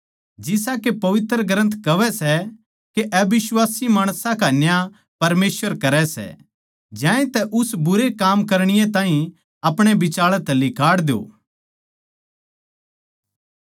जिसा के पवित्र ग्रन्थ कहवै सै के अबिश्वासी माणसां का न्याय परमेसवर करै सै ज्यांतै उस बुरे काम करणीये ताहीं अपणे बिचाळै तै लिकाड़ द्यो